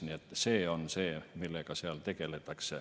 Nii et see on see, millega seal tegeldakse.